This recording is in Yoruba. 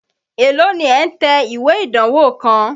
Èló ni ẹ̀ ń tẹ ìwé ìdánwó kan?